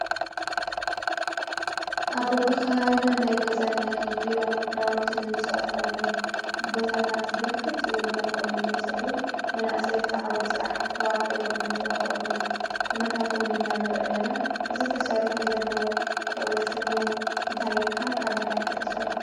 ኣብ በቢከባቢና ናይገዛን ናይ ቢሮን ናዉቲ እንሰርሐሎም ቦታታት ብርክት ዝበሉ እናኾኑ ይመፁ ኣለዉ። መናእሰይ ኣብቲ ዓዉደ ስራሕ ተዋፊሮም እንረኽበሎም ኩነታት እዉን ኢና ንርኢ ለና እዚ ተሰሪሑ ዘሎ ሽሙ እንታይ ይብሃል? ካብ ምንታይ ከ ተሰሪሑ?